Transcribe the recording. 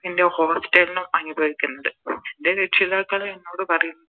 എൻറെ Hostel ലും അനുഭവിക്കുന്നത് ൻറെ രക്ഷിതാക്കള് എന്നോട് പറയും